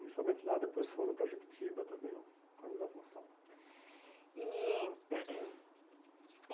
Inicialmente lá, depois foram para Juquitiba também, com a mesma função. E